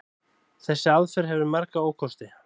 Þessi aðferð hefur marga ókosti.